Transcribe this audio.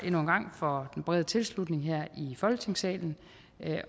for den brede tilslutning her i folketingssalen